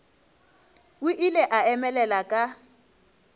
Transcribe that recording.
o ile a emelela ka